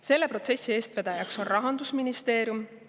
Selle protsessi eestvedajaks on Rahandusministeerium.